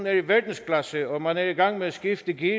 er i verdensklasse og man er i gang med at skifte gear